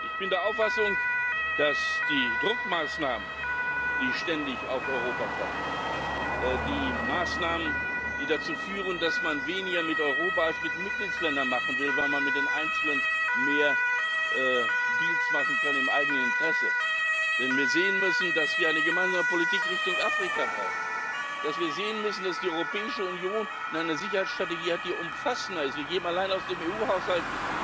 Ich bin der Auffassung, dass die Druckmaßnahmen, die ständig auf Europa kommen, die Maßnahmen, die dazu führen, dass man weniger mit Europa als mit Mitgliedstaaten machen will, weil man mit den Einzelnen mehr Deals im eigenen Interesse machen kann, dass wir sehen müssen, dass wir eine gemeinsame Politik Richtung Afrika brauchen, dass wir sehen müssen, dass die Europäische Union eine Sicherheitsstrategie hat, die umfassender ist. Wir geben allein aus dem EU